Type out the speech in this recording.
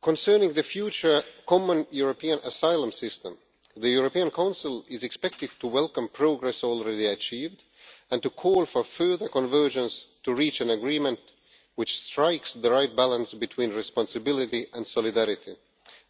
Concerning the future Common European Asylum System, the European Council is expected to welcome progress already achieved and to call for further convergence to reach an agreement which strikes the right balance between responsibility and solidarity